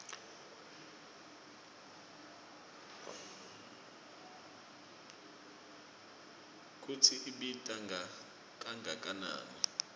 kutsi ibita kangakanani